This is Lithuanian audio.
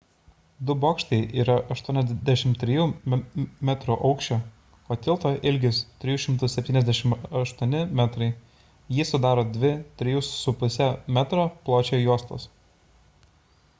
du bokštai yra 83 metrų aukščio o tilto ilgis – 378 metrai jį sudaro dvi 3,50 m pločio juostos